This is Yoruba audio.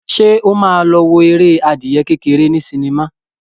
Ṣé ó ma lọ wo eré adìyẹ kékeré ní sinimá?